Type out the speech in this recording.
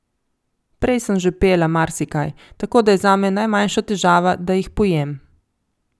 Prej sem že pela marsikaj, tako da je zame najmanjša težava, da jih pojem.